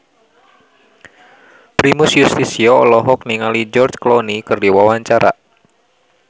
Primus Yustisio olohok ningali George Clooney keur diwawancara